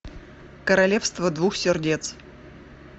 королевство двух сердец